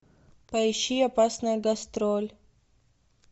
поищи опасная гастроль